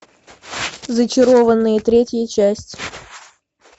зачарованные третья часть